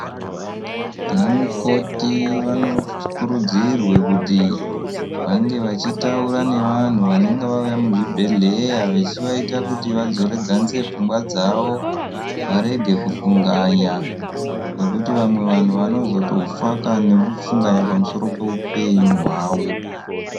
Ana mukoti vanokurudzirwa kuti vange vachitaura nevantu vanenge vauya muzvibhedhleya vachivaita kuti vadzoredzanise pfungwa dzavo varege kufunganya nekuti vamwe vanhu vanozotofa nekufunganya pamusoro pehupenyu hwavo.